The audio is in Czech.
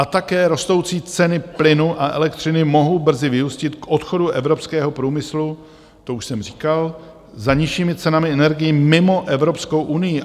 A také rostoucí ceny plynu a elektřiny mohou brzy vyústit k odchodu evropského průmyslu - to už jsem říkal - za nižšími cenami energií mimo Evropskou unii.